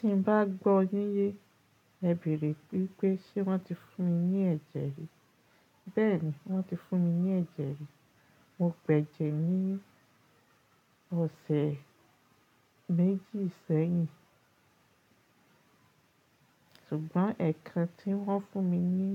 Tí n bá gbọ́ yín, e bẹ̀rẹ̀ wípé ṣe wọ́n ti fún mi ní ẹ̀jẹ̀ rí. Bẹ́ẹ̀ni, wọ́n ti fún mi ní ẹ̀jẹ̀ rí. Mo gbẹ́jẹ̀ ní ọ̀sẹ̀ méjì sẹ́yìn. Ṣùgbọ́n ẹ̀kan tí wọ́n fún mi ní